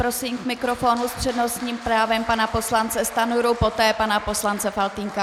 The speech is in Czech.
Prosím k mikrofonu s přednostním právem pana poslance Stanjuru, poté pana poslance Faltýnka.